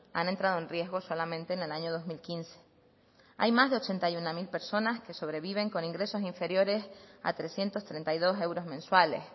han entrado en riesgo solamente en el año dos mil quince hay más de ochenta y uno mil personas que sobreviven con ingresos inferiores a trescientos treinta y dos euros mensuales